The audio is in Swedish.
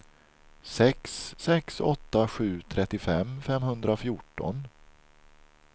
sex sex åtta sju trettiofem femhundrafjorton